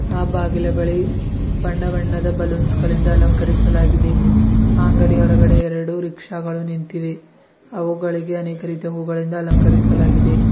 ಆ ಬಾಗಿಲ ಬಳಿ ಬಣ್ಣ ಬಣ್ಣದ ಬಲೂನ್ಸ್ ಗಳಿಂದ ಅಲಂಕರಿಸಲಾಗಿದೆ ಆ ಅಂಗಡಿಯ ಹೊರಗಡೆ ಎರಡು ರೀಕ್ಷಾಗಳು ನಿಂತಿವೆ ಅವುಗಳಿಗೆ ಅನೇಕ ರೀತಿಯ ಹೂಗಳಿಂದ ಅಲಂಕರಿಸಲಾಗಿದೆ.